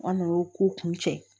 An n'o ko kun cɛ